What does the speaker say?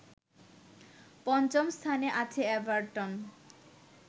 পঞ্চম স্থানে আছে এভারটন